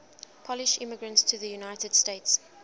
polish immigrants to the united states